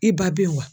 I ba be yen wa